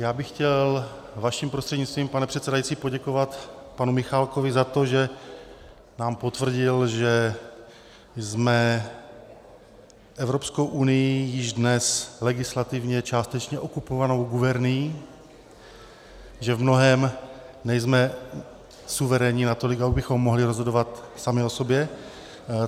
Já bych chtěl vaším prostřednictvím, pane předsedající, poděkovat panu Michálkovi za to, že nám potvrdil, že jsme Evropskou unií již dnes legislativně částečně okupovanou gubernií, že v mnohém nejsme suverénní natolik, abychom mohli rozhodovat sami o sobě.